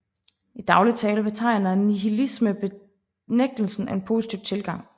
I daglig tale betegner nihilisme benægtelsen af en positiv tilgang